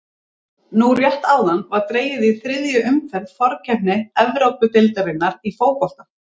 Nú rétt áðan var dregið í þriðju umferð forkeppni Evrópudeildarinnar í fótbolta.